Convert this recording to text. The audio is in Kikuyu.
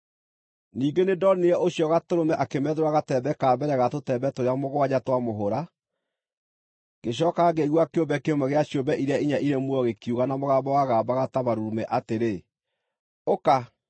Ningĩ nĩndonire ũcio Gatũrũme akĩmethũra gatembe ka mbere ga tũtembe tũrĩa mũgwanja twa mũhũra. Ngĩcooka ngĩigua kĩũmbe kĩmwe gĩa ciũmbe iria inya irĩ muoyo gĩkiuga na mũgambo wagambaga ta marurumĩ atĩrĩ, “Ũka!”